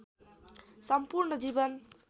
सम्पूर्ण जीवन